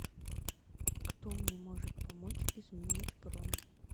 кто мне может помочь изменить бронь